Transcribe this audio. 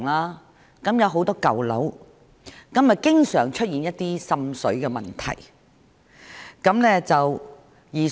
那些地區有很多舊樓，而且經常出現一些滲水的問題。